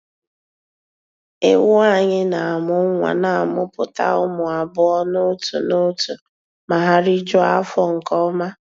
Ewu anyị na-amụ nwa na-amụpụta ụmụ abụọ n'otu n'otu ma ha rijuo afọ nke ọma.